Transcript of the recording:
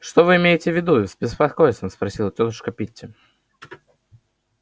что вы имеете в виду с беспокойством спросила тётушка питти